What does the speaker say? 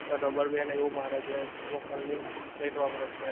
ઉપર rubber band એવું મારે છે thermocol ની plate વાપરે છે